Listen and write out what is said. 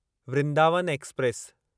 Vrindavan express